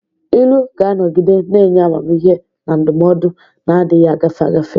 Ilu ga-anọgide na-enye amamihe na ndụmọdụ na-adịghị agafe agafe.